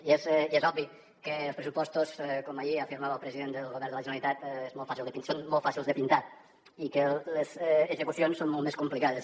i és obvi que els pressupostos com ahir afirmava el president del govern de la generalitat són molt fàcils de pintar i les execucions són molt més complicades